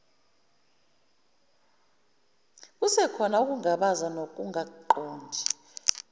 kusekhona ukungabaza nokungaqondi